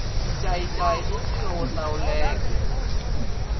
xincayincayi i ncino wo hlawuleka